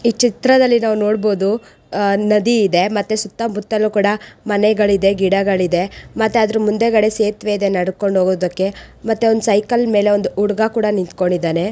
ಈ ಚಿತ್ರದಲ್ಲಿ ನಾವ ನೋಡಬಹುದು ಅಹ್ ನದಿ ಇದೆ ಮತ್ತೆ ಸುತ್ತಮುತ್ತಲೂ ಕೂಡ ಮನೆಗಳಿದೆ ಗಿಡಗಳ ಇದೆ ಮತ್ತೆ ಅದರ ಮುಂದಗಡೆ ಸೇತ್ವೆ ಇದೆ ನಡೆದುಕೊಂಡು ಹೋಗುವುದಕ್ಕೆ ಮತ್ತೆ ಒಂದು ಸೈಕಲ್ ಮೇಲೆ ಒಂದು ಹುಡುಗ ಕೂಡ ನಿಂತುಕೊಂಡಿದ್ದಾನೆ.